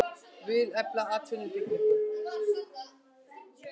Vilja efla atvinnuuppbyggingu